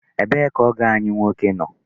Ebee ka ọgọ anyị nwoke nọ?